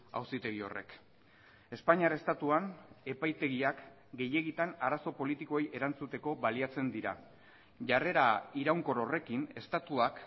auzitegi horrek espainiar estatuan epaitegiak gehiegitan arazo politikoei erantzuteko baliatzen dira jarrera iraunkor horrekin estatuak